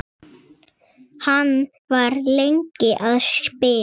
Hann var lengi að spila.